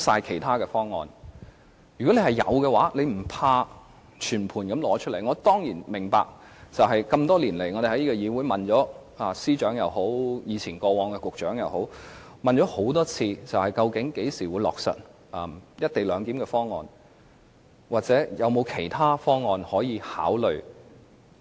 這麼多年來，我們一再詢問司長和局長，多次查詢究竟會在何時落實"一地兩檢"的方案？或有否其他的方案可以考慮？